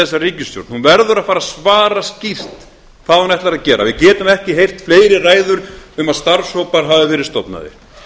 þessa ríkisstjórn hún verður að fara að svara skýrt hvað hún ætlar að gera við getum ekki heyrt fleiri ræður um að starfshópar hafi verið stofnaðir